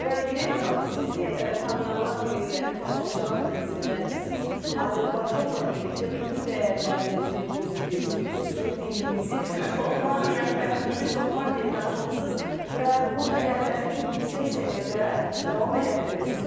Və Günel xanım, sizi tanıyanlar bilirlər, indi tamaşaçılar da bilsinlər ki, siz Azərbaycanla birlikdə bütün dəyərlərimizi, musiqimizi, xüsusilə dilimizi, mətbəximizi Şotlandiyaya daşımısınız və bu dəyərləri çox yüksək səviyyədə davam elətdirirsiz.